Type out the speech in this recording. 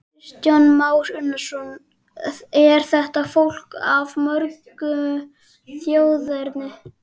Kristján Már Unnarsson: Er þetta fólk af mörgu þjóðerni?